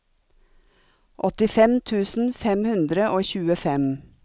åttifem tusen fem hundre og tjuefem